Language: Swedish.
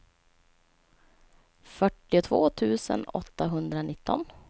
fyrtiotvå tusen åttahundranitton